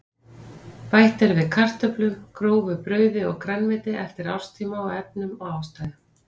Bætt er við kartöflum, grófu brauði og grænmeti eftir árstíma og efnum og ástæðum.